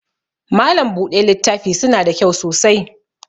Malam buɗe littafi suna da kyau sosai